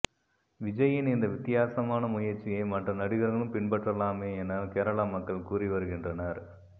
விஜய்யின் இந்த வித்தியாசமான முயற்சியை மற்ற நடிகர்களும் பின்பற்றலாமே என கேரள மக்கள் கூறி வருகின்றனர்